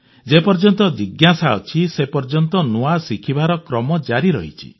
ଯେ ପର୍ଯ୍ୟନ୍ତ ଜିଜ୍ଞାସା ଅଛି ସେ ପର୍ଯ୍ୟନ୍ତ ନୂଆ ଶିଖିବାର କ୍ରମ ଜାରି ରହିଛି